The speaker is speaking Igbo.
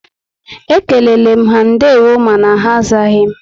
Ékéléle m ha ndewo mànà ha azaghi m